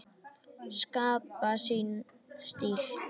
Skapa sinn stíl.